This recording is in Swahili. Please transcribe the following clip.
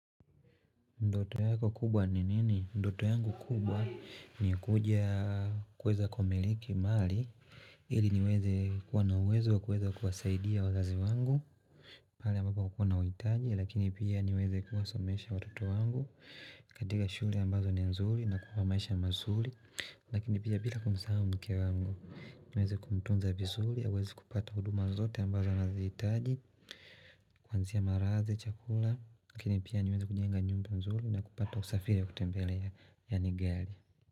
Ndoto yako kubwa ni nini? Ndoto yangu kubwa ni kuja kuweza kwa miliki mali ili niweze kuwa nawezo wa kuweza kuwasaidia wazazi wangu Pali ambapa kukuna witaji Lakini pia niweze kuwasomesha watoto wangu katika shule ambazo nenzuli na kuwa maisha mazuli Lakini pia bila kumsahau mke wangu niweze kumtunza bisuli ya weze kupata huduma zote ambazo wanaziitaji Kuanzia maraze, chakula Kini pia niweza kunyenga nyumbu nzuri na kupata usafiri ya kutembele ya nigeli.